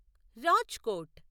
Rajkot